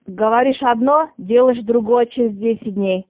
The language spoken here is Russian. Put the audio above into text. говоришь одно делаешь другое через десять дней